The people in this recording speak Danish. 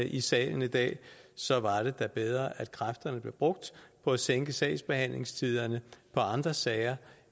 i salen i dag så var det da bedre at kræfterne blev brugt på at sænke sagsbehandlingstiderne i andre sager